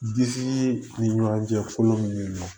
Disi ni ɲɔgɔn cɛ kolon min bɛ yen nɔ